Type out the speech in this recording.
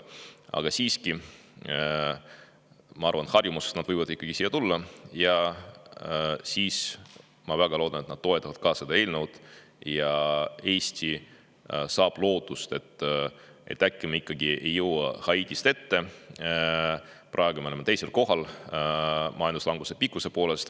Aga ma siiski arvan, et harjumusest nad võivad siia tulla, ja ma väga loodan, et nad siis toetavad seda eelnõu ja Eesti saab lootust, et äkki me ikkagi ei jõua Haitist ette – praegu me oleme teisel kohal – majanduslanguse pikkuse poolest.